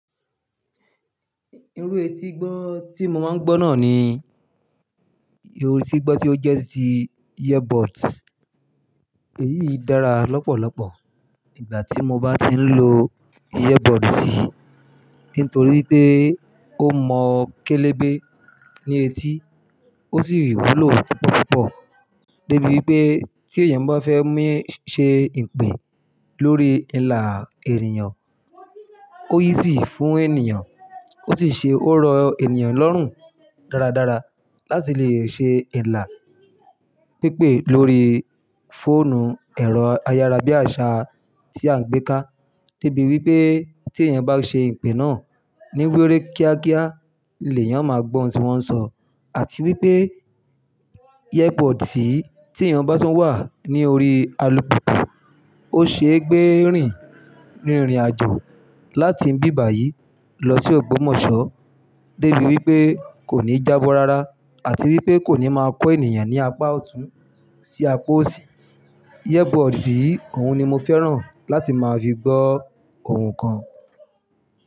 Irú etí gbọ́ tí mo máa ń gbọ́ náà ni irú etí gbọ́ tí ó jẹ́ ti earbuds. Èyí dára lọ́pọ̀lọpọ̀ nígbà tí mo bá ti ń lo earbuds yìí, nítorí pé ó mọ kélébé ní etí, ó sì wúlò púpọ̀púpọ̀. Dẹ́bí pé tí èèyàn bá fẹ́ mú ṣe ìpè lórí ìnlá èniyan, ó yí sì fún ènìyàn, ó sì ṣe ó rọ ènìyàn lọ́rùn dáradára láti lè ṣe ìnlá pípé lórí fóònù ẹ̀rọ ayára bí àṣá tí à ń gbé ká. Dẹ́ bí wi pé tí èèyàn bá ṣe ìpè náà ní wéréké kíákíá, lèyán máa gbọ́ ohun tí wọ́n ń sọ àti wípé earbuds yìí tí èèyàn bá tún wà ní orí alùpùpù, ó ṣe é gbé rìn ní ìrìnàjò láti bí bàyí lọ sí ògbómọ̀ṣọ́. Gẹ́gẹ́ bí pé kò ní jábọ̀ rárá àti wípé kò ní máa kọ́ ènìyàn ní apá ọ̀tún sí apá òsì. Earbuds yìí, òun ni mo fẹ́ràn láti máa fi gbọ́ ohun kan.